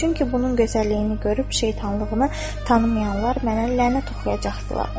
Çünki bunun gözəlliyini görüb şeytanlığını tanımayanlar mənə lənət oxuyacaqdılar.